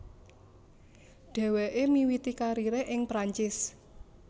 Dheweke miwiti karire ing Perancis